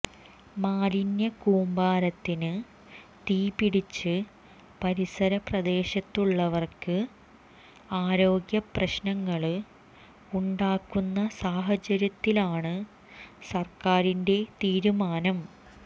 മാലിന്യ കൂമ്പാരത്തിന് തീപ്പിടിച്ച് പരിസര പ്രദേശത്തുള്ളവര്ക്ക് ആരോഗ്യ പ്രശ്നങ്ങള് ഉണ്ടാകുന്ന സാഹചര്യത്തിലാണ് സര്ക്കാരിന്റെ തീരുമാനം